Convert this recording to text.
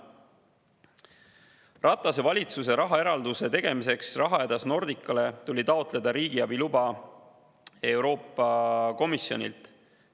Ratase valitsuse rahaeralduse tegemiseks rahahädas Nordicale tuli taotleda riigiabi luba Euroopa Komisjonilt.